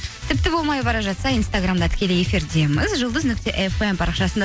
тіпті болмай бара жатса инстаграмда тікелей эфирдеміз жұлдыз нүкте фм парақшасында